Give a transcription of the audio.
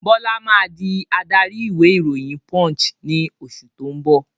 Bọlá máa di adarí ìwé ìròyìn "Punch" ni oṣù tó ń bọ̀